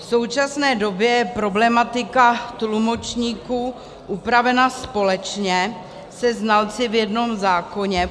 V současné době je problematika tlumočníků upravena společně se znalci v jednom zákoně.